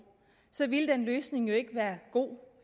så ville den løsning jo ikke være god